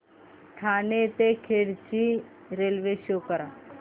ठाणे ते खेड ची railway show करा